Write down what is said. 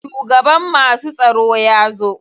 Shugaban masu tsaro ya zo.